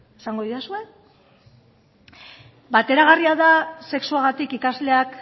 esango didazue bateragarria da sexuagatik ikasleak